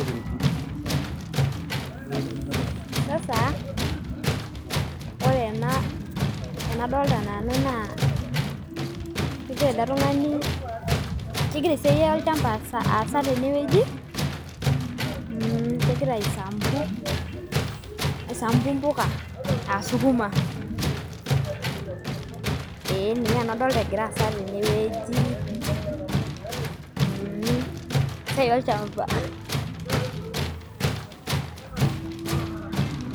Ore enadolita naa kegira oltungani aisampu mpuka aa sukuma. Ninye nanu adolita egira aasa tene wuji. Esiai olchamba.